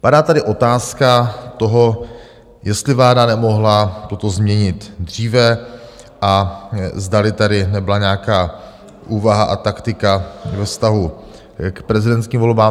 Padá tady otázka toho, jestli vláda nemohla toto změnit dříve a zdali tady nebyla nějaká úvaha a taktika ve vztahu k prezidentským volbám.